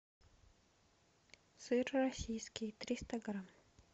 сыр российский триста грамм